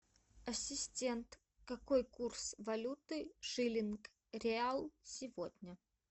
ассистент какой курс валюты шиллинг реал сегодня